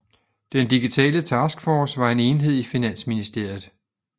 Den Digitale Taskforce var en enhed i Finansministeriet